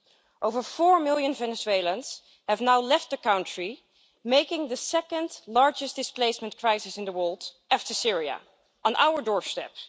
More than four million Venezuelans have now left the country, making this the second largest displacement crisis in the world after Syria, on our doorstep.